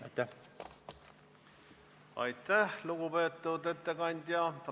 Aitäh, lugupeetud ettekandja!